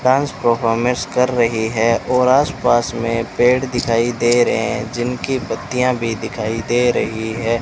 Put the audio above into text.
Dance performance कर रहीं हैं और आस पास में पेड़ दिखाई दे रहे है जिनकी पत्तियां भीं दिखाई दे रहीं हैं।